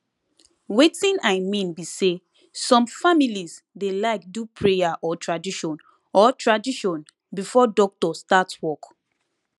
wetin i mean be say some families dey like do prayer or tradition or tradition before doctor start work